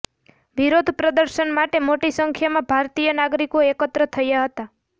વિરોધ પ્રદર્શન માટે મોટી સંખ્યામાં ભારતીય નાગરિકો એકત્ર થયા હતા